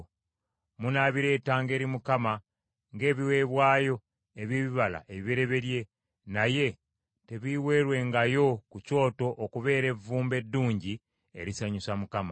Munaabireetanga eri Mukama ng’ebiweebwayo eby’ebibala ebibereberye, naye tebiiweerwengayo ku kyoto okubeera evvumbe eddungi erisanyusa Mukama .